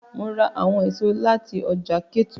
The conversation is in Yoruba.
Mo ra awọn eso lati ọja Ketu